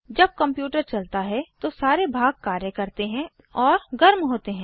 जब कंप्यूटर चलता है तो सारे भाग कार्य करते हैं और गर्म होते हैं